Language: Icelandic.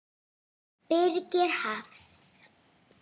Birgir Hafst.